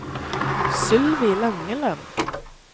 Sylvi Langeland